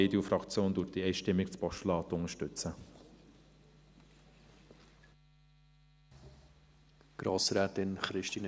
Die EDU-Fraktion unterstützt das Postulat einstimmig.